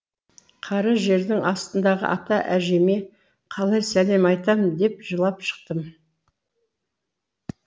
қара жердің астындағы ата әжеме қалай сәлем айтам деп жылап шықтым